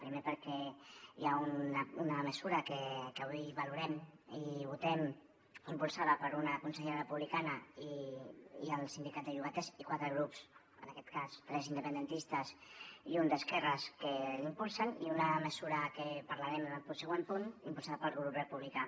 primer perquè hi ha una mesura que avui valorem i votem impulsada per una consellera republicana i el sindicat de llogaters i quatre grups en aquest cas tres independentistes i un d’esquerres que la impulsen i una mesura que parlarem en el següent punt impulsada pel grup republicà